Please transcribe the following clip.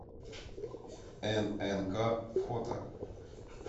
ннк фото